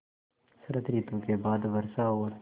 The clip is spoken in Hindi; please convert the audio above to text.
शरत ॠतु के बाद वर्षा और